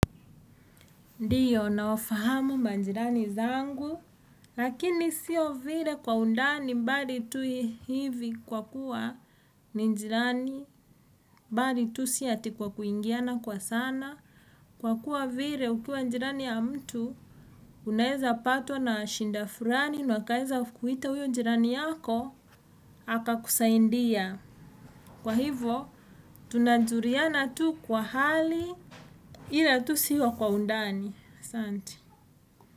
Ndiyo, naofahamu manjirani zangu, lakini siyo vire kwa undani bali tui hivi kwa kuwa njirani bali tu siati kwa kuingiana kwa sana. Kwa kuwa vire ukuwa njirani ya mtu, unaeza patwa na shinda furani, nwakaeza kuhita uyo njirani yako, haka kusaindia. Kwa hivo, tunajuriana tu kwa hali ila tu siyo kwa undani. Sante.